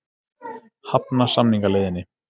Hafna samningaleiðinni